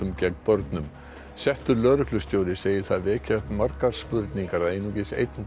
settur lögreglustjóri segir það vekja upp margar spurningar að einungis einn dómari hafi dæmt í